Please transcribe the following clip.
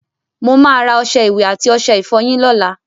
Mo máa ra ọṣẹ ìwẹ̀ àti ọṣẹ ìfọyín lóla